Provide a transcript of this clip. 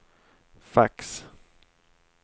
fax